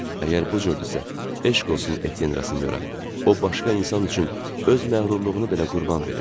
Əgər bu cürdüsə, eşq olsun Etyenrasinyora, o başqa insan üçün öz məğrurluğunu belə qurban verdi.